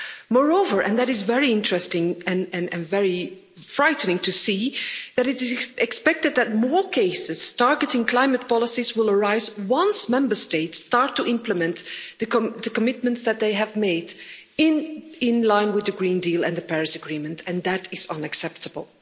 Moreover, and that is very interesting and very frightening to see, that it is expected that more cases targeting climate policies will arise, once Member States start to implement the commitments that they have made in line with the Green Deal and the Paris Agreement, and that is unacceptable.